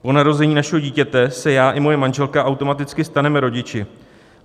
Po narození našeho dítěte se já i moje manželka automaticky staneme rodiči.